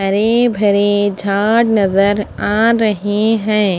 हरे भरे झाड नजर आ रहे है।